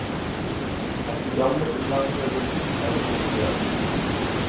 At de gamle inngangene lukkes, er kritisert.